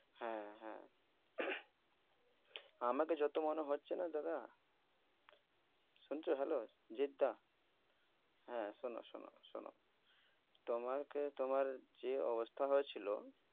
হ্যাঁ হ্যাঁ। আমাকে যত মনে হচ্ছে না দাদা, শুনছ hello, জিৎ দা, হ্যাঁ শোন শোন শোন। তোমাকে তোমার যে অবস্থা হয়েছিল